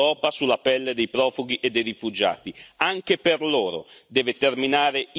Ed è anche grave vedere che Erdogan ricatta l'Europa sulla pelle dei profughi e dei rifugiati.